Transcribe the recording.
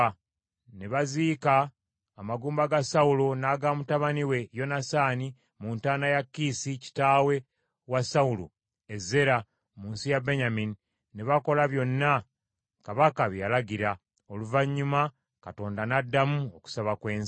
Ne baziika amagumba ga Sawulo n’aga mutabani we Yonasaani mu ntaana ya Kiisi kitaawe wa Sawulo, e Zeera mu nsi ya Benyamini, ne bakola byonna kabaka bye yalagira. Oluvannyuma Katonda n’addamu okusaba kw’ensi.